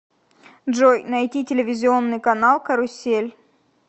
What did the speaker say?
джой найти телевизионный канал карусель